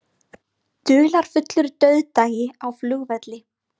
Dularfullur dauðdagi á flugvelli